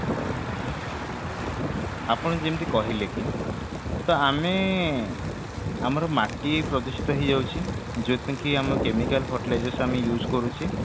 ଆପଣ ଯେମିତି କହିଲେ କି ତ ଆମେ ଆମର ମାଟି ପ୍ରଦୂଷିତ ହେଇ ଯାଉଛି ଯୋଉଥି ପାଇଁ କି ଆମେ chemical fertilizers ଆମେ use କରୁଛେ